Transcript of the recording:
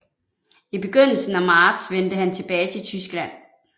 I begyndelsen af marts vendte han tilbage til Tyskland